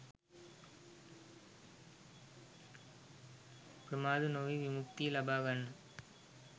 ප්‍රමාද නොවී විමුක්තිය ලබා ගන්න